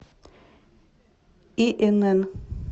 инн